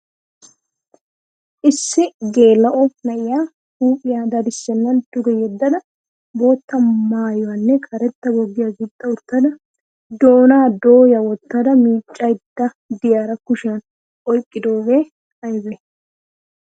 Issi geela'o na'iya huuphphiya dadissennan duge yeddada bootto maayuwanne karetta boggiya gixxa uttada doonaa dooya wottada miiccaydda de'iyara kushiyan oyqqidoogee aybay?